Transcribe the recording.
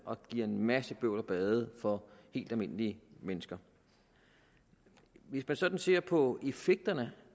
og det giver en masse bøvl og ballade for helt almindelige mennesker hvis man sådan ser på effekterne